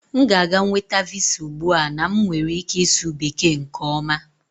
M ga-aga nweta Visa m ugbu a na m nwere ike ịsụ Bekee nke ọma